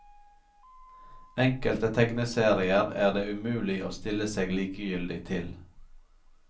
Enkelte tegneserier er det umulig å stille seg likegyldig til.